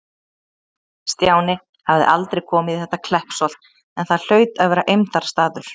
Stjáni hafði aldrei komið í þetta Kleppsholt, en það hlaut að vera eymdarstaður.